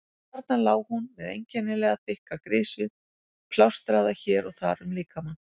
Þarna lá hún með einkennilega þykkar grisjur plástraðar hér og þar um líkamann.